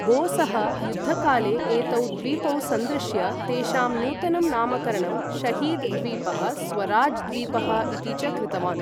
बोसः युद्धकाले एतौ द्वीपौ संदृश्य, तेषां नूतनं नामकरणं 'शहीद द्वीपः' 'स्वराज द्वीपः' इति च कृतवान्।